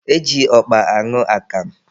E ji ọkpa aṅụ akamụ.